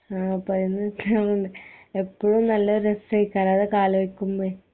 ആ പതിങ്ങിനിക്കാറ്ണ്ട് എപ്പഴും നല്ല രസെക്കാരം അതൊക്കെ അലോയിക്കുമ്പെ